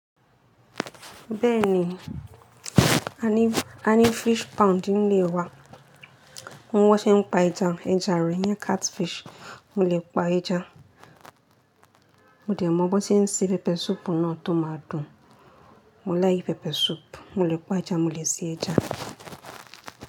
Bẹ́ẹ̀ni, a ní fish pond nílé wa. Mo mọ bon ṣe ń pa ẹja. Ẹja rí, ní catfish. Mo lè pa ẹja. Mo dè mọ bóń se n se pepper soup náà tó máa dùn. Mo like pepper soup. Mo lè pa ẹja, mo lè ṣe ẹja.